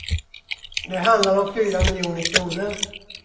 Det handlar om fyra miljoner kronor.